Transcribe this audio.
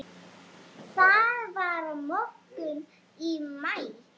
Það var morgunn í maí.